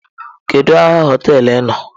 Kedu aha hoteelu ị nọ?